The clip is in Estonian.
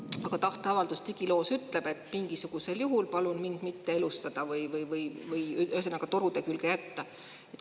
Aga tahteavaldus digiloos ütleb, et mingisugusel juhul palun mind mitte elustada või ühesõnaga, torude külge jätta.